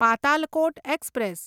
Patalkot express